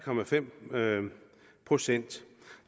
procent